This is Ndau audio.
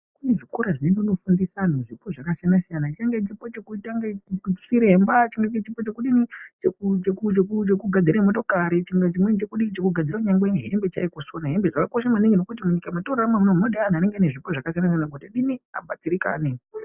Kune zvikora zvirimwo zvinofundisa anhu zvipo zvakakasiyana-siyana, chipo chekuita chiremba, chipo chekugadzire motokari, chimweni chekusona hembe. Zvakakosha yaamho ngekuti munyika mwatinogara muno munode anhu ane zvipo kuti adziriritire.